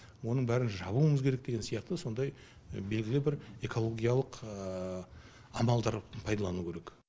оның бәрін жабуымыз керек деген сияқты сондай белгілі бір экологиялық амалдар пайдалану керек